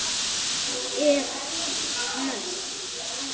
ef. ness